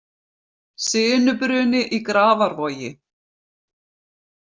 Sinubruni í Grafarvogi